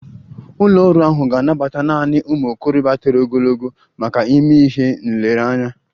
Ụlọ ọrụ ahụ ga-anabata naanị ụmụ okorobịa toro ogologo maka ịme ihe nlereanya